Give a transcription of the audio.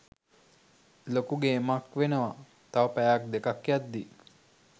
ලොකු ගේමක් වෙනවා තව පැයක් දෙකක් යද්දී